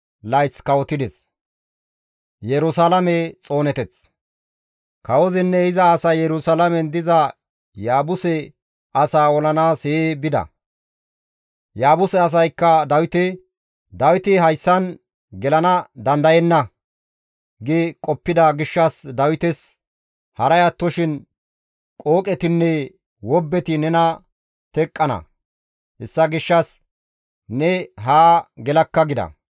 Kawozinne iza asay Yerusalaamen diza Yaabuse asaa olanaas hee bida. Yaabuse asaykka Dawite, «Dawiti hayssan gelana dandayenna» gi qoppida gishshas Dawites, «Haray attoshin qooqetinne wobbeti nena teqqana; hessa gishshas ne haa gelakka» gida.